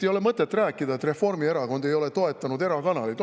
Ei ole mõtet rääkida, et Reformierakond ei ole toetanud erakanaleid.